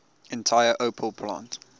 entire opel plant